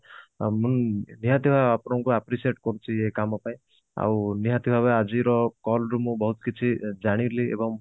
ହଁ ମୁଁ ନିହାତି ଭାବେ appreciate କରୁଛି ଏଇ କାମ ପାଇଁ ଆଉ ନିହାତି ଭାବେ ଆଜିର call ରୁ ମୁଁ ବହୁତ କିଛି ଜାଣିଲି ଏବଂ